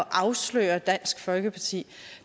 afsløre dansk folkeparti